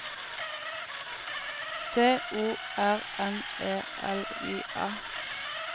C O R N E L I A